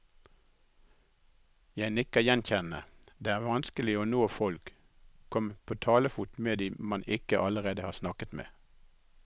Jeg nikker gjenkjennende, det er vanskelig å nå folk, komme på talefot med de man ikke allerede har snakket med.